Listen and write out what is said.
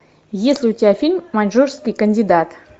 есть ли у тебя фильм маньчжурский кандидат